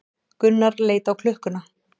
Gunnar leit á klukkuna.